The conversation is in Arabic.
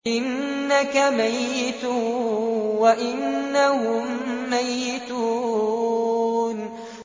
إِنَّكَ مَيِّتٌ وَإِنَّهُم مَّيِّتُونَ